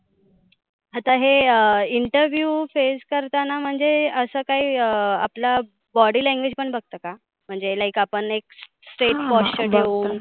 आता हे interview face करताना म्हणजे अस काही आपलं body language पण बघतं का? म्हणजे like आपण एक straight posture ठेवून.